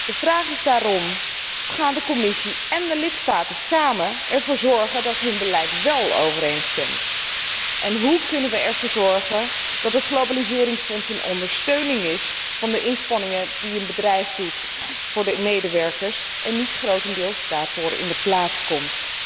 De vraag is daarom, hoe gaan de Commissie en de lidstaten samen ervoor zorgen dat hun beleid wél overeenstemt? En hoe kunnen wij ervoor zorgen dat het globaliseringsfonds een ondersteuning is van de inspanningen die een bedrijf doet voor de medewerkers en niet grotendeels daarvoor in de plaats komt?